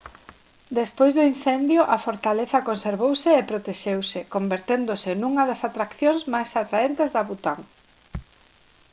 despois do incendio a fortaleza conservouse e protexeuse converténdose nunha das atraccións máis atraentes de bután